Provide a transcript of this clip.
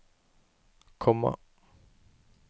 komma